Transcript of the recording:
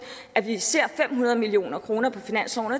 at vi ser fem hundrede million kroner på finansloven og